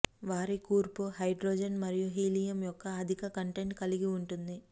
వారి కూర్పు హైడ్రోజన్ మరియు హీలియం యొక్క అధిక కంటెంట్ కలిగి ఉంటుంది